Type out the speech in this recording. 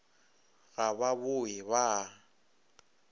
ga ba bowe ba a